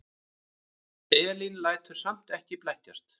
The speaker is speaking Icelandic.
Elín lætur samt ekki blekkjast.